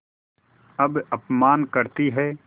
अब अपमान करतीं हैं